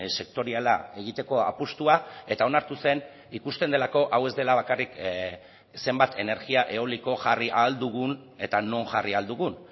sektoriala egiteko apustua eta onartu zen ikusten delako hau ez dela bakarrik zenbat energia eoliko jarri ahal dugun eta non jarri ahal dugun